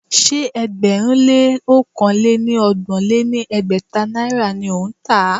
Ṣé ẹgbẹ̀rún lé ọ̀kan lé ní ọgbọ̀n lé ní ẹgbẹ́ta náírà ni ó ń tà á?